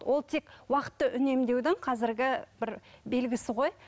ол тек уақытты үнемдеудің қазіргі бір белгісі ғой